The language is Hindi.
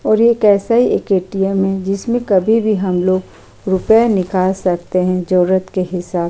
और एक ऐसा एक एटीएम है जिसमे कभी भी हम लोग रूपये निकाल सकते है जरुरत के हिसाब से --